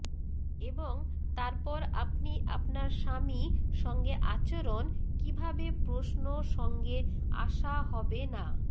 এবং তারপর আপনি আপনার স্বামী সঙ্গে আচরণ কিভাবে প্রশ্ন সঙ্গে আসা হবে না